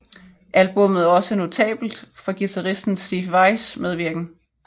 Albummet er også notabelt for guitaristen Steve Vais medvirken